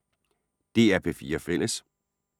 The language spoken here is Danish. DR P4 Fælles